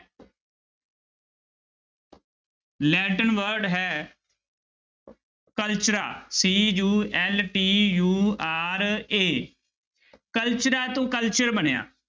Latin word ਹੈ cultura C U L T U R A cultura ਤੋਂ culture ਬਣਿਆ।